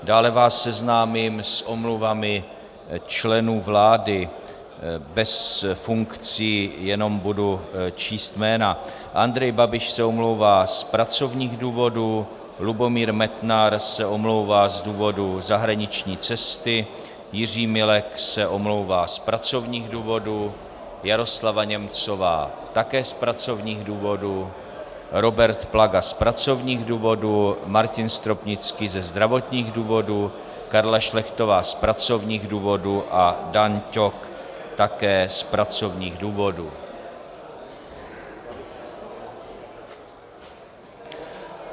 Dále vás seznámím s omluvami členů vlády, bez funkcí, jenom budu číst jména: Andrej Babiš se omlouvá z pracovních důvodů, Lubomír Metnar se omlouvá z důvodu zahraniční cesty, Jiří Milek se omlouvá z pracovních důvodů, Jaroslava Němcová také z pracovních důvodů, Robert Plaga z pracovních důvodů, Martin Stropnický ze zdravotních důvodů, Karla Šlechtová z pracovních důvodů a Dan Ťok také z pracovních důvodů.